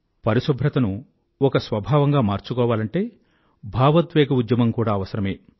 పరిశుభ్రతను ఒక స్వభావంగా మార్చుకోవాలంటే భావోద్వేగ ఉద్యమం కూడా అవసరమే